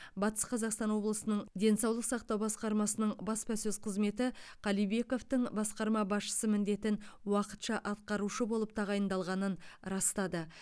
батыс қазақстан облысының денсаулық сақтау басқармасының баспасөз қызметі қалибековтің басқарма басшысы міндетін уақытша атқарушы болып тағайындалғанын растады